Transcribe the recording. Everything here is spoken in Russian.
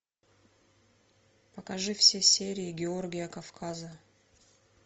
покажи все серии георгия кавказа